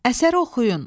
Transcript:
Əsəri oxuyun.